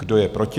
Kdo je proti?